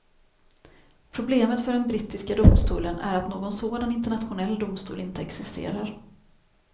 Problemet för den brittiska domstolen är att någon sådan internationell domstol inte existerar.